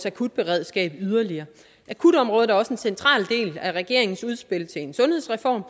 akutberedskabet yderligere akutområdet er også en central del af regeringens udspil til en sundhedsreform